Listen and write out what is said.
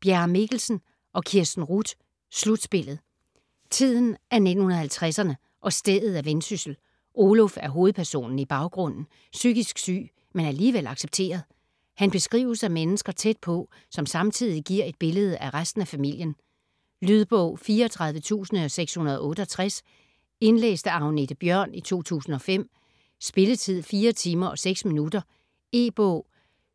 Bjerre Mikkelsen, Kirsten Ruth: Slutspillet Tiden er 1950'erne, og stedet er Vendsyssel. Oluf er hovedpersonen i baggrunden, psykisk syg, men alligevel accepteret. Han beskrives af mennesker tæt på, som samtidig giver et billede af resten af familien. Lydbog 34668 Indlæst af Agnethe Bjørn, 2005. Spilletid: 4 timer, 6 minutter. E-bog